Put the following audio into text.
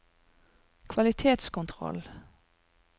kvalitetskontroll